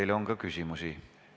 Teile on ka küsimusi.